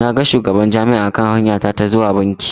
Na ga shugaban Jami'a a kan hanya ta ta zuwa banki.